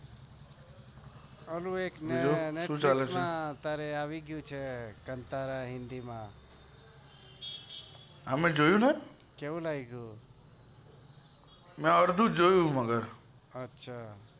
બોલ બીજું શું ચાલે છે netflix માં અત્યારે આવી ગયું છે કંટારા હિન્દી માં મેં જોયું ને કેવું છે મેં અર્ધું જોયું મગર